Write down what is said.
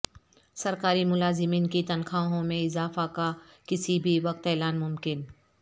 سرکاری ملازمین کی تنخواہوں میں اضافہ کا کسی بھی وقت اعلان ممکن